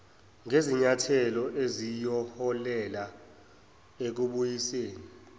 ngezinyathelo eziyoholela ekubuyisweni